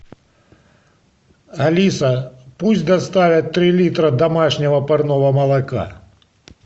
алиса пусть доставят три литра домашнего парного молока